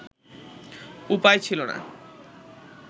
উপায় ছিলো না